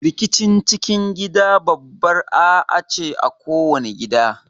Rikicin cikin gida babbar A'A ce a kowani gida.